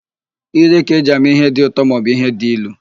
Ire ka-eji ama íhé dị ụtọ maọbụ íhé dị ilu.